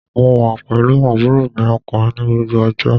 Mo wà pẹ̀lú àbúrò mi ọkùnrin ní gbogbo ọjọ́